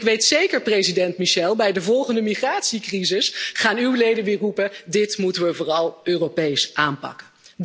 Ik weet zeker, president Michel, dat bij de volgende migratiecrisis uw leden weer gaan roepen dit moeten we vooral Europees aanpakken!